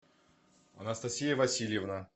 анастасия васильевна